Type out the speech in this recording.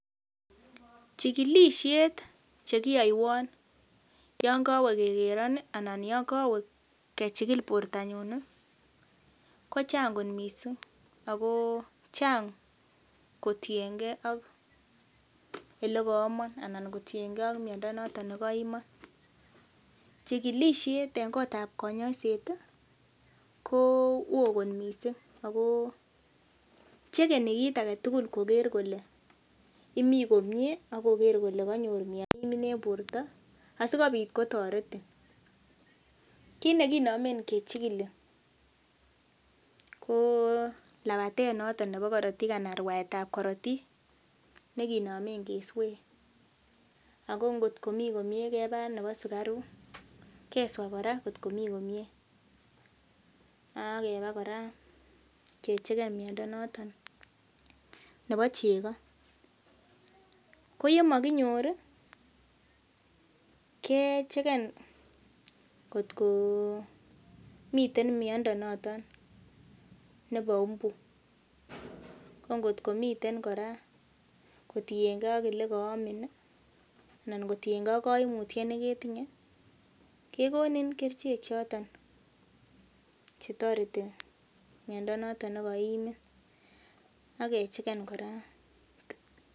Chikilisiet chekiyoiwon yon kowe kekeron ih anan yon kowe kechikil bortonyun ih ko chang kot missing ako chang kotiengee ak elekoomon anan kotiengee ak miondo noton nekoimon chikilisiet en kotab konyoiset ih ko oo kot missing ako chekeni kit aketugul koker kole imii komie ak koker kole konyoru miondo neimin en borto asikobit kotoretin kit nekinomen kechikili ko labatet noton nebo korotik ana rwaetab korotik nekinomen keswee ako ngot komii komie keba nebo sukaruk keswaa kora ngotko mii komie ak keba kora kechegen miondo noton nebo chego ko yemokinyor ih kechegen kot komiten miondo noton nebo mbu ko ngotko miten kora kotiengee ak elekoomin ih anan kotiengee ak koimutyet neketinye kekonin kerichek choton chetoreti miondo noton nekoimin ak kechegen kora